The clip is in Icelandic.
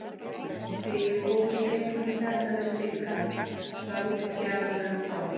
Þegar ég fór í gegnum þetta með Sigga, ráðgjafanum á